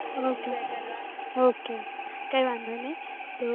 ok કાય વાંધો નાય તો